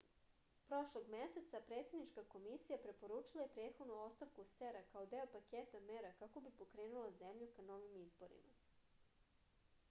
prošlog meseca predsednička komisija preporučila je prethodnu ostavku cep-a kao deo paketa mera kako bi pokrenula zemlju ka novim izborima